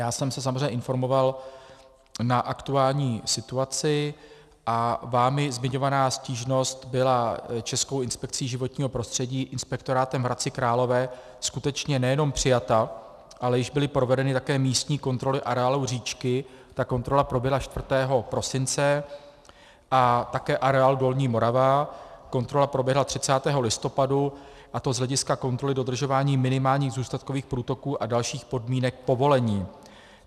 Já jsem se samozřejmě informoval na aktuální situaci a vámi zmiňovaná stížnost byla Českou inspekcí životního prostředí, inspektorátem v Hradci Králové, skutečně nejenom přijata, ale již byly provedeny také místní kontroly areálu říčky, ta kontrola proběhla 4. prosince, a také areál Dolní Morava - kontrola proběhla 30. listopadu, a to z hlediska kontroly dodržování minimálních zůstatkových průtoků a dalších podmínek povolení.